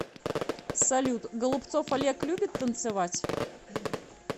салют голубцов олег любит танцевать